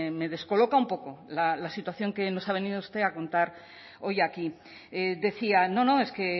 me descoloca un poco la situación que nos ha venido usted a contar hoy aquí decía no no es que